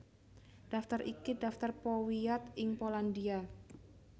Daftar iki daftar powiat ing Polandia